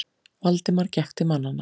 Valdimar gekk til mannanna.